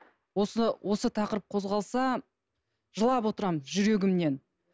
осы осы тақырып қозғалса жылап отырамын жүрегімнен